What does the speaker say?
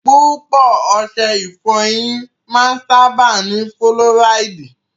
Púpọ̀ ọṣẹ ìfọyín máa ń sábáà ní fúlọ́ráìdì.